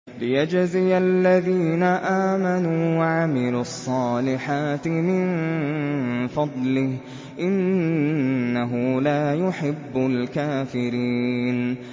لِيَجْزِيَ الَّذِينَ آمَنُوا وَعَمِلُوا الصَّالِحَاتِ مِن فَضْلِهِ ۚ إِنَّهُ لَا يُحِبُّ الْكَافِرِينَ